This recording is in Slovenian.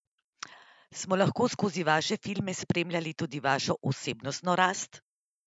Smo lahko skozi vaše filme spremljali tudi vašo osebnostno rast?